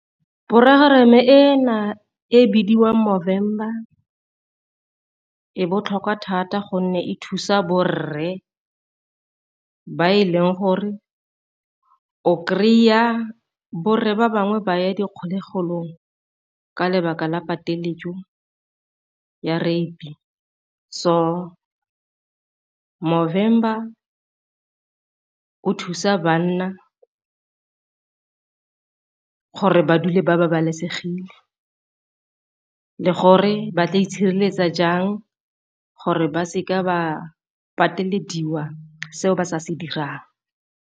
ena e bidiwa Movember e botlhokwa thata gonne e thusa borre ba e leng gore o kry-a borre ba bangwe ba ya dikgolegelong ka lebaka la pateletso ya rape, so Movember o thusa banna gore ba dule ba babalesegile le gore ba tla itshireletsa jang gore ba seka ba pateleditswe seo ba sa se dirang.